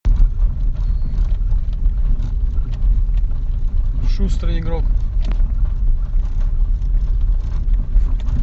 шустрый игрок